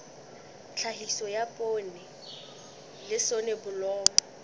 tlhahiso ya poone le soneblomo